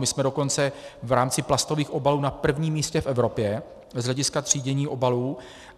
My jsme dokonce v rámci plastových obalů na prvním místě v Evropě z hlediska třídění obalů.